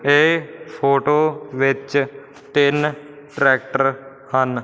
ਇਹ ਫੋਟੋ ਵਿੱਚ ਤਿੰਨ ਟਰੈਕਟਰ ਹਨ।